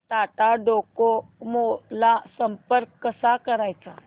Tata Docomo ला संपर्क कसा करायचा